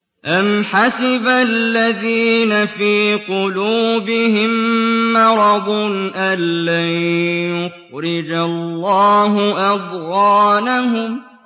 أَمْ حَسِبَ الَّذِينَ فِي قُلُوبِهِم مَّرَضٌ أَن لَّن يُخْرِجَ اللَّهُ أَضْغَانَهُمْ